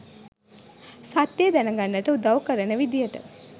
සත්‍යය දැන ගන්න උදව් කරන විදියට